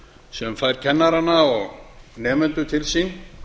sem fær kennara og nemendur til sín